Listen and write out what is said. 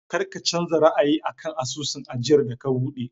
Kar ka canza ra'ayi a kan asusun ajiyar da ka buɗe!